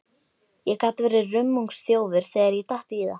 Ég gat verið rummungsþjófur þegar ég datt í það.